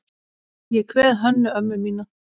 Ég kveð Hönnu ömmu mína.